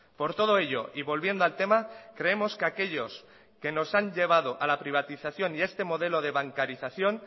por todo ello y volviendo al tema creemos que aquellos que nos han llevado a la privatización y este modelo de bancarización